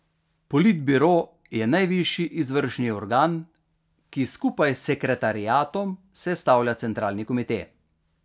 Politbiro je najvišji izvršni organ, ki skupaj s sekretariatom sestavlja centralni komite.